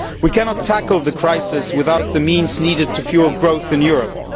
We cannot tackle the crisis without the means needed to fuel growth in Europe.